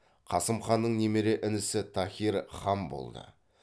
қасым ханның немере інісі таһир хан болды